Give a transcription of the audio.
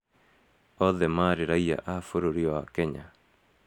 Othe maarĩ raiya a bũrũri wa Kenya.